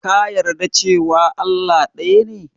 Ka yarda cewa Allah ɗaya ne?